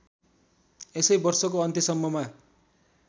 यसै वर्षको अन्त्यसम्ममा